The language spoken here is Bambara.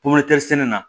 sɛnɛ na